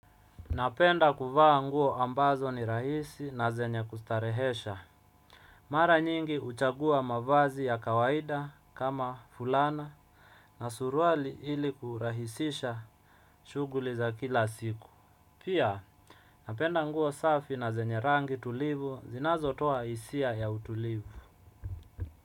Napenda kuvaa nguo ambazo ni rahisi na zenye kustarehesha. Mara nyingi huchagua mavazi ya kawaida kama fulana na suruali ili kurahisisha shughuli za kila siku. Pia napenda nguo safi na zenye rangi tulivu zinazotoa hisia ya utulivu.